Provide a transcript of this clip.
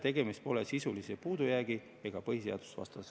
Tegemist pole sisulise puudujäägi ega põhiseadusvastasusega.